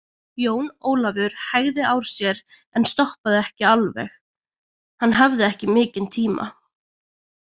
Jón Ólafur hægði á sér en stoppaði ekki alveg, hann hafði ekki mikinn tíma.